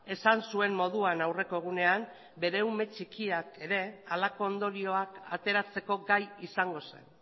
esan zuen moduan aurreko egunean bere ume txikiak ere halako ondorioak ateratzeko gai izango zen